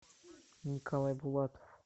николай булатов